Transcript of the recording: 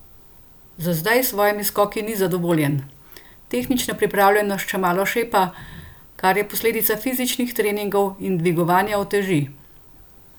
Za zdaj s svojimi skoki ni zadovoljen: "Tehnična pripravljenost še malo šepa, kar je posledica fizičnih treningov in dvigovanja uteži.